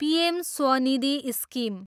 PM SVANidhi scheme